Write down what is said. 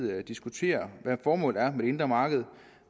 diskutere hvad formålet er med det indre marked